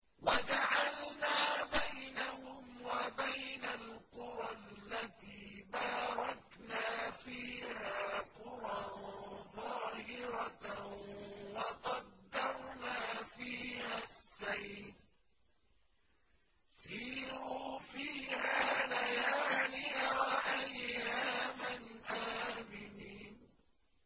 وَجَعَلْنَا بَيْنَهُمْ وَبَيْنَ الْقُرَى الَّتِي بَارَكْنَا فِيهَا قُرًى ظَاهِرَةً وَقَدَّرْنَا فِيهَا السَّيْرَ ۖ سِيرُوا فِيهَا لَيَالِيَ وَأَيَّامًا آمِنِينَ